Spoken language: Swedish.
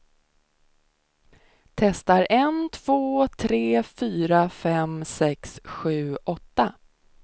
Testar en två tre fyra fem sex sju åtta.